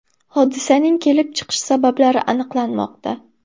Hodisaning kelib chiqish sabablari aniqlanmoqda.